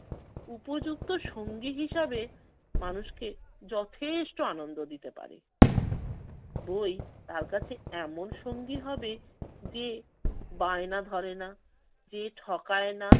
উপযুক্ত সঙ্গী হিসেবে মানুষকে যথেষ্ট আনন্দ দিতে পারে। বই তার কাছে এমন সঙ্গী হবে যে বায়না ধরেনা, যে ঠকায় না